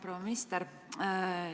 Proua minister!